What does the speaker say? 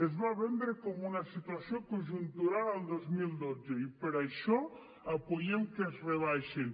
es va vendre com una situació conjuntural el dos mil dotze i per això donem suport a que es rebaixin